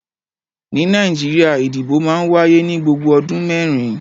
Ní Nàìjíríà ìdìbò máa ń wáyé ní gbogbo ọdún mẹ́rin.